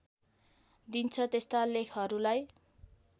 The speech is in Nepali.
दिन्छ त्यस्ता लेखहरूलाई